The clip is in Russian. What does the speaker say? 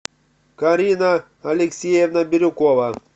карина алексеевна бирюкова